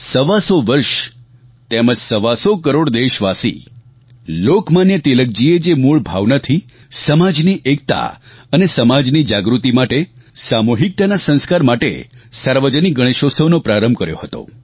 સવા સો વર્ષ તેમજ સવા સો કરોડ દેશવાસી લોકમાન્ય તિલકજીએ જે મૂળ ભાવનાથી સમાજની એકતા અને સમાજની જાગૃતિ માટે સામૂહિકતાના સંસ્કાર માટે સાર્વજનિક ગણેશોત્સવનો પ્રારંભ કર્યો હતો